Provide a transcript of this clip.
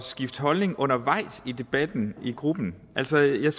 skifte holdning undervejs i debatten i gruppen altså jeg